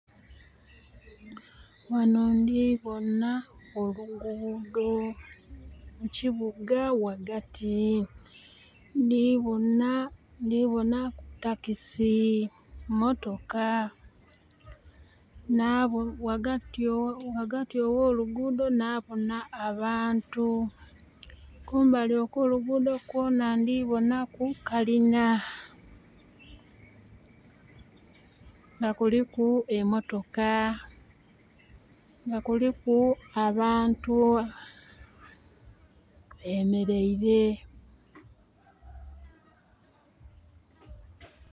Ghano ndi bonha olugudho mukibuga ghagati ndi bonha...ndi bonha takisi, motoka. Ghagati ogh'olugudho nabona abantu, kumbali kwo lugudho kwona ndibonaku kalina, nga kuliku emotoka, nga kuliku abantu... bemereire.